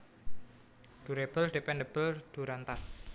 Durable Dependable Durantas